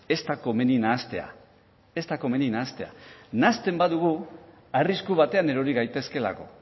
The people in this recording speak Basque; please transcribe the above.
ez da komeni nahastea nahasten badugu arrisku baten erori gaitezkeelako